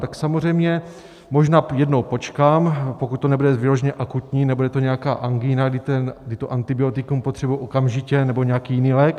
Tak samozřejmě možná jednou počkám, pokud to nebude vyloženě akutní, nebude to nějaká angína, kdy to antibiotikum potřebuji okamžitě, nebo nějaký jiný lék.